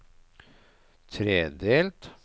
tredelt